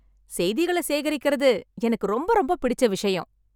செய்திகளை சேகரிக்கிறது எனக்கு ரொம்ப ரொம்ப பிடிச்ச விஷயம்.